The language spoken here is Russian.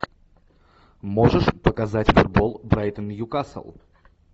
можешь показать футбол брайтон ньюкасл